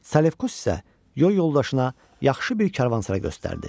Salefkos isə yol yoldaşına yaxşı bir karvansaray göstərdi.